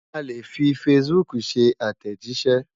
A lè fi facebook ṣe àtẹ̀jíṣẹ́.